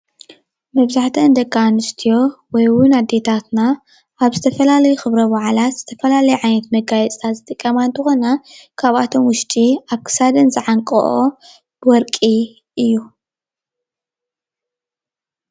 መብዛሕቲአን ደቂ ኣንስትዮ ወይእውን ኣዴታታትና ኣብ ዝተፈላለዩ ኽብረ በዓላት ዝተፈላለየ ዓይነት መጋየፂታት ዝጥቀማ እንትኾና ካብኣቶም ውሽጢ ኣብ ክሳደን ዝዓንቀኦ ወርቂ እዩ።